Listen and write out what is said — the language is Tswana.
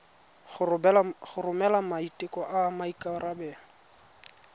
go romela maiteko a maikarebelo